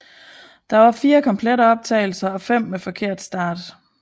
Der var fire komplette optagelser og fem med forkert start